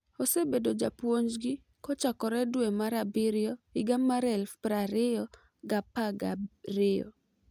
Osebedo japuonj gi kochakore dwe mar abiriyo higa mar 2012.